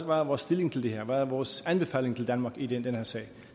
hvad vores stilling til det her er hvad vores anbefaling til danmark i den her sag